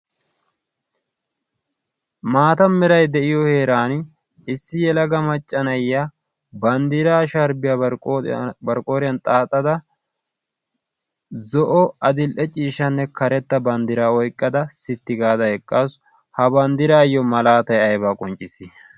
maata mirai de7iyo heeran issi yelaga maccanayya banddiraa shaaribiyaa barqqooriyan xaaxada zo7o adil77e ciishanne karetta banddira oiqqada sitti gaada eqqassu ha banddiraayyo malaatai aibaa qonccis